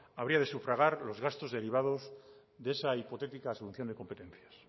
habría de sufragar los gastos derivados de esa hipotética asunción de competencias